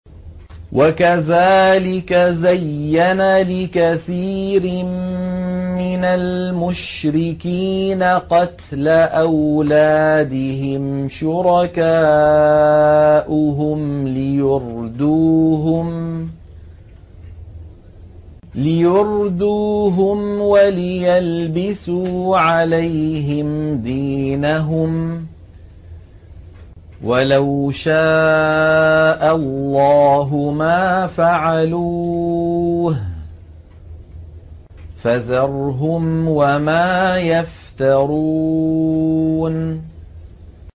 وَكَذَٰلِكَ زَيَّنَ لِكَثِيرٍ مِّنَ الْمُشْرِكِينَ قَتْلَ أَوْلَادِهِمْ شُرَكَاؤُهُمْ لِيُرْدُوهُمْ وَلِيَلْبِسُوا عَلَيْهِمْ دِينَهُمْ ۖ وَلَوْ شَاءَ اللَّهُ مَا فَعَلُوهُ ۖ فَذَرْهُمْ وَمَا يَفْتَرُونَ